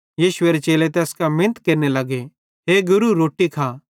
यीशुएरे चेले तैस कां मिनत केरने लग्गे हे गुरू रोट्टी खा